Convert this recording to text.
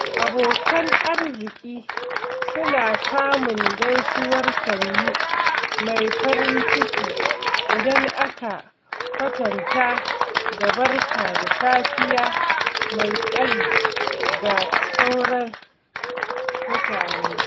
Abokan arziki suna samun gaisuwar "Sannu!" mai farin ciki, idan aka kwatanta da "Barka da safiya" mai tsari ga sauran mutane.